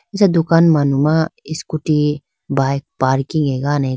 acha dukan manuna scooty bike parking agane khayi.